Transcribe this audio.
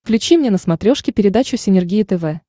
включи мне на смотрешке передачу синергия тв